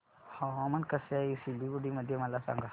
हवामान कसे आहे सिलीगुडी मध्ये मला सांगा